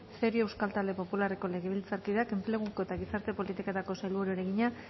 cerio euskal talde popularreko legebiltzarkideak enpleguko eta gizarte politiketako sailburuari egina